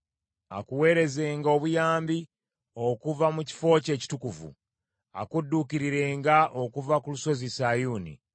Akuweerezenga obuyambi obuva mu kifo kye ekitukuvu; akudduukirirenga okuva ku lusozi Sayuuni.